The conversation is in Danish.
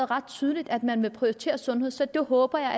ret tydeligt at man vil prioritere sundhed så det håber